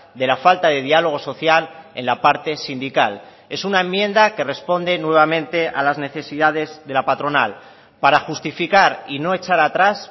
de la falta de diálogo social en la parte sindical es una enmienda que responde nuevamente a las necesidades de la patronal para justificar y no echar a tras